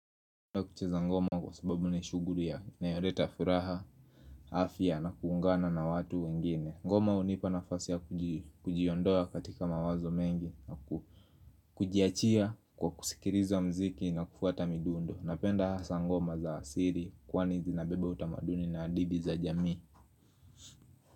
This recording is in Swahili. Na kucheza ngoma kwa sababu ni shuguli ya inayoleta furaha, afya na kuungana na watu wengine. Ngoma hunipa na fasi ya kujiyondoa katika mawazo mengi na kujiachia kwa kusikiriza muziki na kufuata midundo. Napenda hasa ngoma za asiri kwani zinabebe utamaduni na hadithi za jamii.